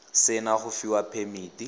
se na go fiwa phemiti